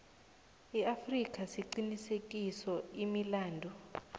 afrika siqinisekise imilandu